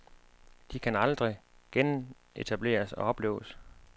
De kan aldrig genetableres og opleves.